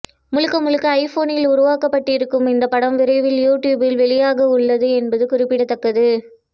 முழுக்க முழுக்க ஐபோனில் உருவாக்கப்பட்டிருக்கும் இந்தப் படம் விரைவில் யூடியூபில் வெளியாக உள்ளது என்பது குறிப்பிடத்தக்கது